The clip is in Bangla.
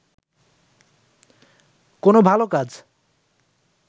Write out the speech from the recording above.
কোন ভাল কাজ